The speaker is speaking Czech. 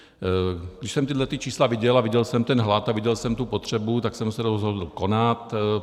Když jsem tahle čísla viděl a viděl jsem ten hlad a viděl jsem tu potřebu, tak jsem se rozhodl konat.